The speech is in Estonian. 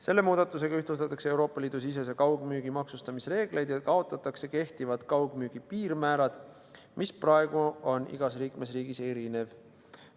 Selle muudatusega ühtlustatakse Euroopa Liidu sisese kaugmüügi maksustamise reegleid ja kaotatakse kehtivad kaugmüügi piirmäärad, mis praegu on igas liikmesriigis erinevad.